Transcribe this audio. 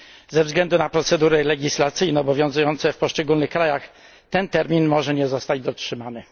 Ze względu na procedury legislacyjne obowiązujące w poszczególnych krajach, ten termin może nie zostać dotrzymany.